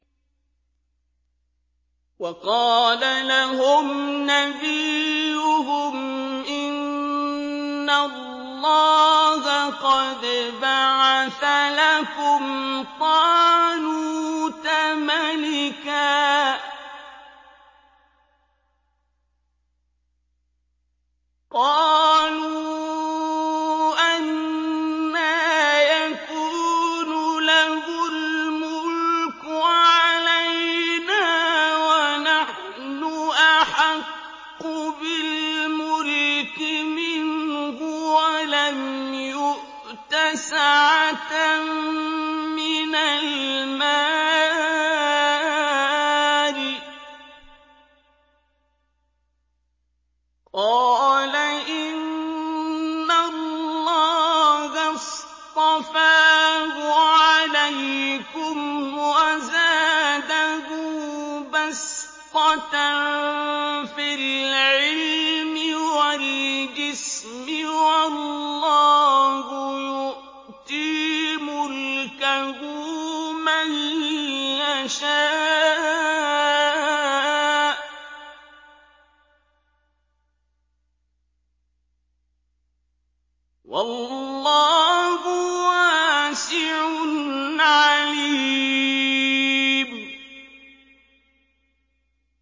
وَقَالَ لَهُمْ نَبِيُّهُمْ إِنَّ اللَّهَ قَدْ بَعَثَ لَكُمْ طَالُوتَ مَلِكًا ۚ قَالُوا أَنَّىٰ يَكُونُ لَهُ الْمُلْكُ عَلَيْنَا وَنَحْنُ أَحَقُّ بِالْمُلْكِ مِنْهُ وَلَمْ يُؤْتَ سَعَةً مِّنَ الْمَالِ ۚ قَالَ إِنَّ اللَّهَ اصْطَفَاهُ عَلَيْكُمْ وَزَادَهُ بَسْطَةً فِي الْعِلْمِ وَالْجِسْمِ ۖ وَاللَّهُ يُؤْتِي مُلْكَهُ مَن يَشَاءُ ۚ وَاللَّهُ وَاسِعٌ عَلِيمٌ